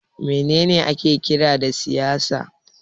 Me ne ne ake kira da siyasa?